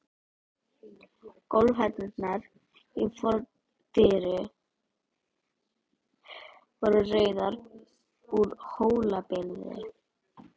Gólfhellurnar í fordyrinu voru rauðar, úr Hólabyrðu.